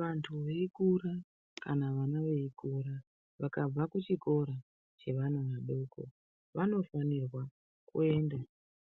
Vantu veikura kana vana veikura vakabva kuchikora chevana vadoko vanofanirwa kuenda